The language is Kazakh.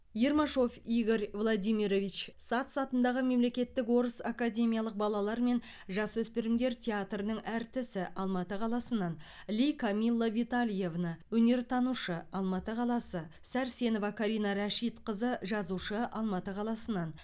ермашов игорь владимирович сац атындағы мемлекеттік орыс академиялық балалар мен жасөспірімдер театрының әртісі алматы қаласынан ли камилла витальевна өнертанушы алматы қаласы сәрсенова карина рашитқызы жазушы алматы қаласынан